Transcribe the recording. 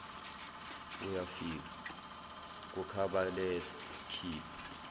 uyafika kukhabhaletha khipha